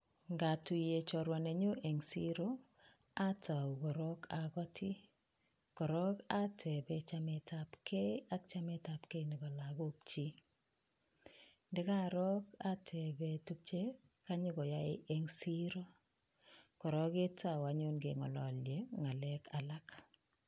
Ngatuye chorwa nenyun en siret atou korong agotii. Korong atebee chametabge ak chametabge nebo lagokyik, ndo kaoroo atebe tuguk che kanyokoyai en en siret. Kora ketou anyun keng'ololye ng'alek alak.